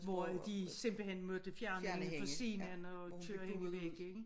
Hvor at de simpelthen måtte fjerne hende fra scenen og køre hende væk ikke